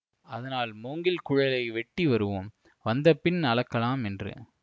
அதனால் மூங்கில் குழலை வெட்டி வருவோம் வந்தபின் அளக்கலாம் என்று